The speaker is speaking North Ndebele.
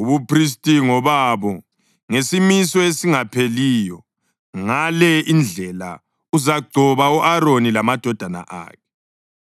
Ubuphristi ngobabo ngesimiso esingapheliyo. Ngale indlela uzagcoba u-Aroni lamadodana akhe.